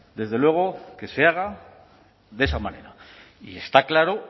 desde luego que se haga de esa manera